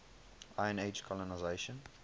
iron age colonisation